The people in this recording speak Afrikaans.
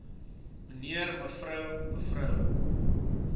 mnr mev me